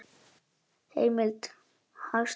Heimild: Hagstofan.